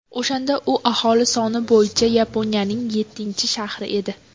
O‘shanda u aholi soni bo‘yicha Yaponiyaning yettinchi shahri edi.